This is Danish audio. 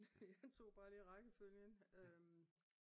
Jeg tog bare lige rækkefølgen